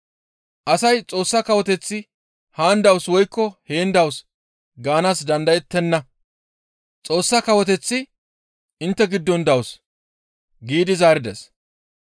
Asay Xoossa kawoteththi haan dawus woykko heen dawus gaanaas dandayettenna; Xoossa kawoteththi intte giddon dawus» giidi zaarides.